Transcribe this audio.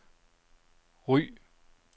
Ry